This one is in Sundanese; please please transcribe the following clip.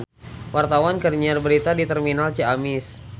Wartawan keur nyiar berita di Terminal Ciamis